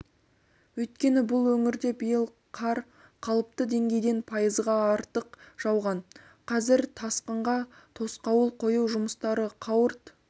өйткені бұл өңірде биыл қар қалыпты деңгейден пайызға артық жауған қазір тасқынға тосқауыл қою жұмыстары қауырт